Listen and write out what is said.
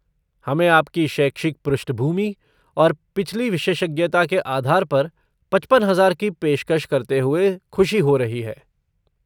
हमें आपकी शैक्षिक पृष्ठभूमि और पिछली विशेषज्ञता के आधार पर पचपन हजार की पेशकश करते हुए खुशी हो रही है।